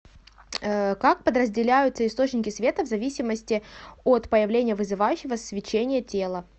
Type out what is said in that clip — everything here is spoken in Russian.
как подразделяются источники света в зависимости от появления вызывающего свечение тела